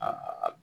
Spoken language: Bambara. Aa